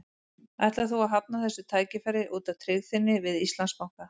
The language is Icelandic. Ætlar þú að hafna þessu tækifæri út af tryggð þinni við Íslandsbanka?